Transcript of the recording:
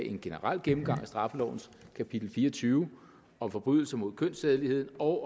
en generel gennemgang af straffelovens kapitel fire og tyve om forbrydelser mod kønssædeligheden og